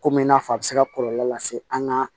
Komi i n'a fɔ a bɛ se ka kɔlɔlɔ lase an ka